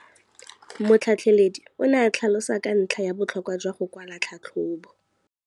Motlhatlheledi o ne a tlhalosa ka ntlha ya botlhokwa jwa go kwala tlhatlhôbô.